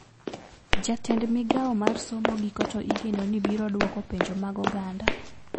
Jatend migao mar somo giko to igeno ni biro duoko penjo mag oganda